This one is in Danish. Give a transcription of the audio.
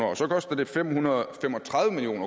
og så koster det fem hundrede og fem og tredive million